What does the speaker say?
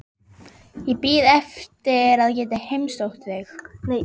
Ég er ekki gamli maðurinn frá hafinu.